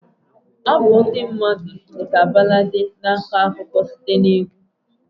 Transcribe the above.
Abụ ndị mmadụ dị ka Baladi na-akọ akụkọ site na egwu.